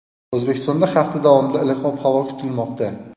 O‘zbekistonda hafta davomida iliq ob-havo kutilmoqda.